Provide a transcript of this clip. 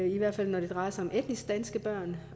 i hvert fald når det drejer sig om etnisk danske børn